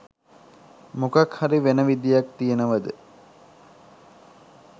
මොකක් හරි වෙන විදියක් තියෙනවද?